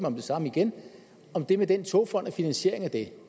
om det samme igen om det med den togfond og finansieringen af